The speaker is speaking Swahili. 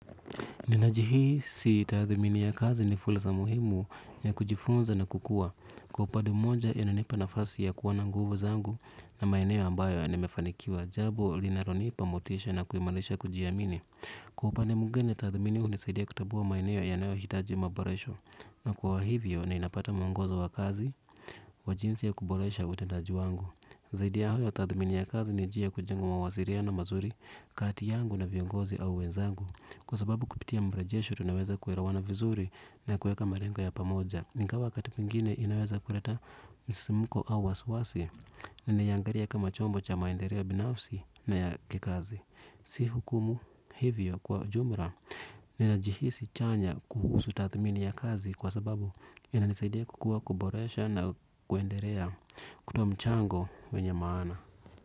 Ninajihisi tathmini ya kazi ni fursa muhimu ya kujifunza na kukua. Kwa upande mmoja inanipa nafasi ya kuwa na nguvu zangu na maeneo ambayo nimefanikiwa, jambo linalonipa motisha na kuimarisha kujiamini. Kwa upande mwingine tathmini inanisaidia kutambua maeneo yanayohitaji maboresho. Na kwa hivyo ninapata muongozo wa kazi wa jinsi ya kuboresha utendaji wangu. Zaidi ya hayo tathmini ya kazi ni njia ya kujenga mawasiliano mazuri kati yangu naomba viongozi au wenzangu, kwa sababu kupitia mrejesho tunaweza kuelawana vizuri na kuweka malengo ya pamoja. Ingawa wakati mwingine inaweza kuleta msisimko au waswasi. Ninaiangalia kama chombo cha maendeleo binafsi na ya kikazi. Si hukumu. Hivyo kwa jumla nainajihisi chanya kuhusu tathmini ya kazi kwa sababu inanisaidia kukua, kuboresha na kuendelea. Kutoa mchango wenye maana.